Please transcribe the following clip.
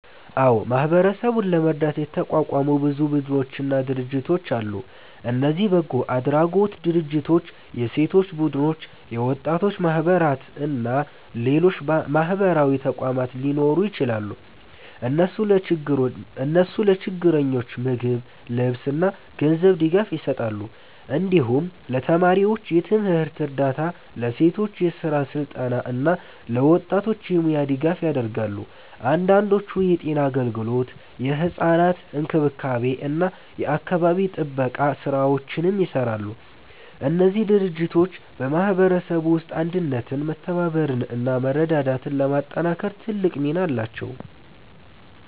አዎ፣ ማህበረሰቡን ለመርዳት የተቋቋሙ ብዙ ቡድኖችና ድርጅቶች አሉ። እነዚህ በጎ አድራጎት ድርጅቶች፣ የሴቶች ቡድኖች፣ የወጣቶች ማህበራት እና ሌሎች ማህበራዊ ተቋማት ሊሆኑ ይችላሉ። እነሱ ለችግረኞች ምግብ፣ ልብስ እና ገንዘብ ድጋፍ ይሰጣሉ። እንዲሁም ለተማሪዎች የትምህርት እርዳታ፣ ለሴቶች የስራ ስልጠና እና ለወጣቶች የሙያ ድጋፍ ያደርጋሉ። አንዳንዶቹ የጤና አገልግሎት፣ የሕፃናት እንክብካቤ እና የአካባቢ ጥበቃ ስራዎችንም ይሰራሉ። እነዚህ ድርጅቶች በማህበረሰቡ ውስጥ አንድነትን፣ መተባበርን እና መረዳዳትን ለማጠናከር ትልቅ ሚና አላቸው።